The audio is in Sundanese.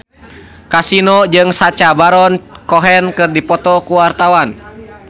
Kasino jeung Sacha Baron Cohen keur dipoto ku wartawan